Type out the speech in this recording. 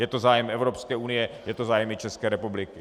Je to zájem Evropské unie, je to zájem i České republiky.